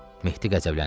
Mehdi qəzəbləndi.